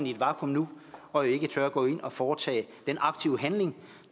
i et vakuum nu og ikke tør gå ind at foretage den aktive handling